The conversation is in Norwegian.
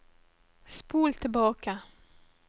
spol tilbake